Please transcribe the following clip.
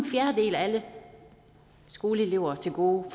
fjerdedel af alle skoleelever til gode